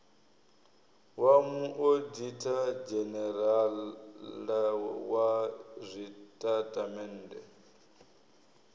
wa muoditha dzhenerala wa zwitatamennde